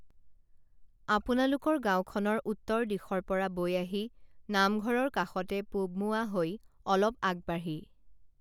আপোনালোকৰ গাঁওখনৰ উত্তৰ দিশৰপৰা বৈ আহি নামঘৰৰ কাষতে পূৱমোৱা হৈ অলপ আগবাঢ়ি